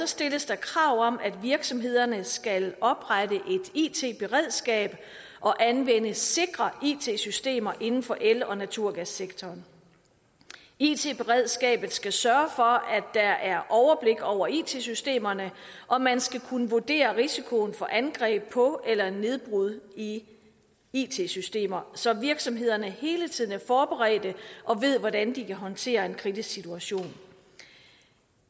stilles der krav om at virksomhederne skal oprette et it beredskab og anvende sikre it systemer inden for el og naturgassektoren it beredskabet skal sørge for at der er overblik over it systemerne og man skal kunne vurdere risikoen for angreb på eller nedbrud i it systemer så virksomhederne hele tiden er forberedte og ved hvordan de kan håndtere en kritisk situation